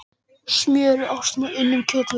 Smjöri og ostum og unnum kjötvörum